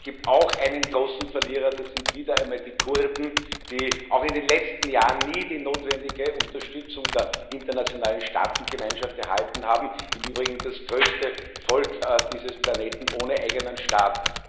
Es gibt auch einen großen Verlierer Das sind wieder einmal die Kurden, die auch in den letzten Jahren nie die notwendige Unterstützung der internationalen Staatengemeinschaft erhalten haben im Übrigen das größte Volk dieses Planeten ohne eigenen Staat.